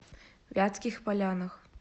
вятских полянах